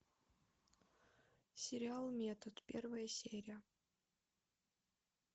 сериал метод первая серия